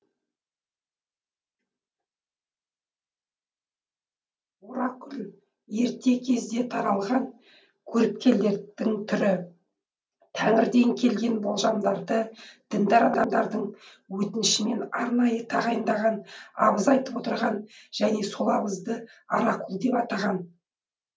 оракул ерте кезде таралған көріпкелдіктің түрі тәңірден келген болжамдарды діндар адамдардың өтінішімен арнайы тағайындалған абыз айтып отырған және сол абызды оракул деп атаған